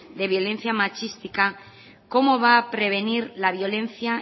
de violencia machista cómo va a prevenir la violencia